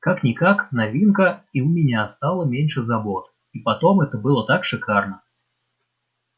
как-никак новинка и у меня стало меньше забот и потом это было так шикарно